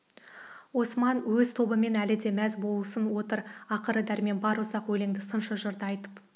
оспан өз тобымен әлі де мәз болысын отыр ақыры дәрмен бар ұзақ өлеңді сыншы жырды айтып